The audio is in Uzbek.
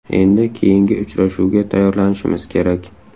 Endi keyingi uchrashuvga tayyorlanishimiz kerak.